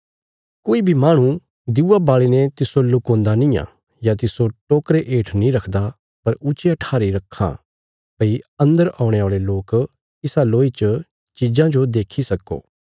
कोई बी माहणु दिऊआ बाल़ीने तिस्सो लुकोन्दा निआं या तिस्सो टोकरे हेठ नीं रखदा पर ऊच्चिया ठारी रखां भई अन्दर औणे औल़े लोक इसा लोई च चिज़ां जो देक्खी सक्को